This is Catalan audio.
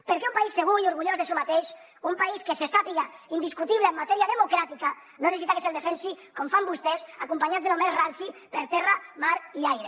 perquè un país segur i orgullós de si mateix un país que se sàpiga indiscutible en matèria democràtica no necessita que se’l defensi com fan vostès acompanyat de lo més ranci per terra mar i aire